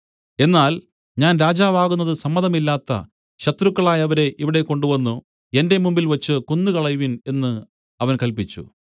എന്നാൽ ഞാൻ രാജാവ് ആകുന്നതു സമ്മതമില്ലാത്ത ശത്രുക്കളായവരെ ഇവിടെ കൊണ്ടുവന്നു എന്റെ മുമ്പിൽവച്ചു കൊന്നുകളയുവിൻ എന്ന് അവൻ കല്പിച്ചു